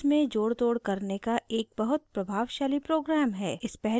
gimp images में जोड़तोड़ करने का एक बहुत प्रभावशाली program है